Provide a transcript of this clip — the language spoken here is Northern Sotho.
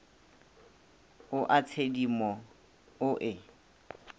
o a tshedimo o e